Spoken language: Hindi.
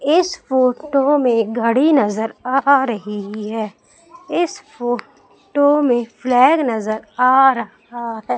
इस फोटो में घड़ी नजर आ रही है इस फो टो में फ्लैग नजर आ रहा है।